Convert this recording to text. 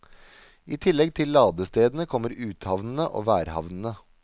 I tillegg til ladestedene kommer uthavnene og værhavnene.